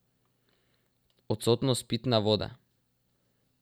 Odsotnost pitne vode.